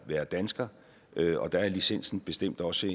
være dansker og der er licensen bestemt også